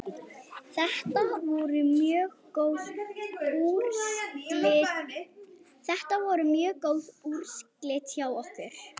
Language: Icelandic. Þetta voru mjög góð úrslit hjá okkur.